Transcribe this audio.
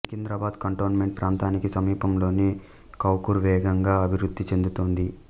Secunderabad cantonment ప్రాంతానికి సమీపంలోని కౌకూర్ వేగంగా అభివృద్ధి చెందుతోంది